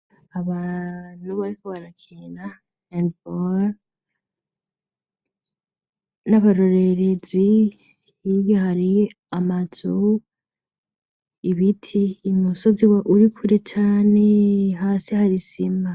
abantu bariko barakina hendeboro nabarorezi amatzo hirya hari amazu, ibiti musozi urikure cane hasi hari sima.